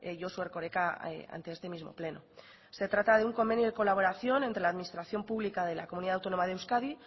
josu erkoreka ante este mismo pleno se trata de un convenio de colaboración entre la administración pública de la comunidad autónoma de euskadi